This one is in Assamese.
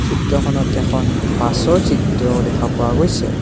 চিত্ৰখনত এখন বাছৰ চিত্ৰও দেখা পোৱা গৈছে।